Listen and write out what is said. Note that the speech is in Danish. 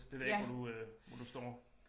Det ved jeg ikke hvor du øh hvor du står